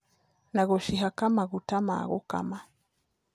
Na gũcihaka maguta na gũkama.